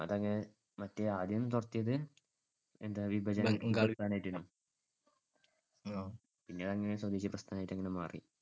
മറ്റേ ആദ്യം തുടങ്ങിയത് എന്താ ബംഗാൾ വിഭജനമായിട്ടു. പിന്നെ അത് സ്വദേശിപ്രസ്ഥാനമായിട്ടങ്ങു മാറി.